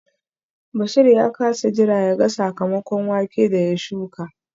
Bashir ya kasa jira yaga sakamakon wake da ya shuka